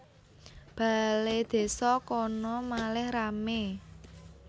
Baledésa kono malih rame